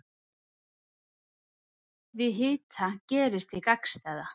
Við hita gerist hið gagnstæða.